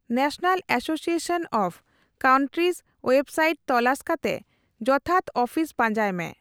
National association of countries ᱳᱭᱮᱵᱽᱥᱟᱭᱤᱴᱨᱮ ᱛᱚᱞᱟᱥ ᱠᱟᱛᱮ ᱡᱚᱛᱷᱟᱛ ᱟᱹᱯᱷᱤᱥ ᱯᱟᱸᱡᱟᱭ ᱢᱮ ᱾